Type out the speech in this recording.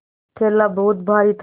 थैला बहुत भारी था